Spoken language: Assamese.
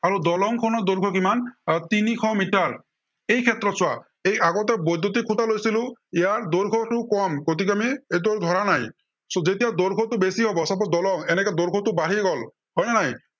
আৰু দলংখনৰ দৈৰ্ঘ্য় কিমান আহ তিনিশ মিটাৰ। এই ক্ষেত্ৰত চোৱা, এৰ এই আগতে বৈদ্য়ুতিক খুটা লৈছিলো, ইয়াৰ দৈৰ্ঘ্য়টো কম, গতিকে, আমি এইটো ধৰা নাই, so যেতিয়া দৈৰ্ঘ্যটো বেছি হব, suppose দলং। এনেকে দৈৰ্ঘ্য়টো বাঢ়ি গল, হয় নে নাই।